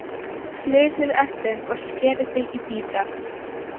Flysjið eplin og skerið þau í bita.